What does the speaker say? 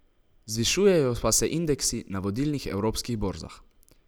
Zvišujejo pa se indeksi na vodilnih evropskih borzah.